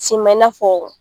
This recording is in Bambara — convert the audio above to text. Sima i na fɔ.